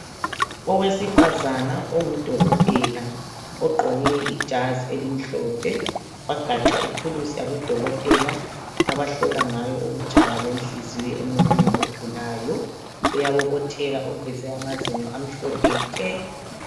Owesifazana ongudokotela, ogqoke ijazi elimhlophe wagaxa ithulusi yabodokotela abahlola ngayo ukutshaya kwenhliziyo emuntwini ogulayo. Uyabobotheka uveze amazinyo amhlophe nke.